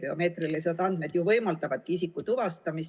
Biomeetrilised andmed ju võimaldavadki isiku tuvastamist ...